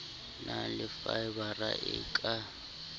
na le faebara e ka